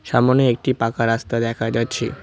সামোনে একটি পাকা রাস্তা দেখা যাচ্ছে।